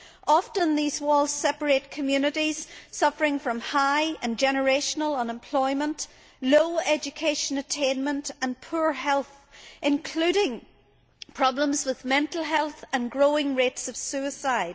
Often these walls separate communities suffering from high and generational unemployment, low educational attainment and poor health, including problems with mental health and growing rates of suicide.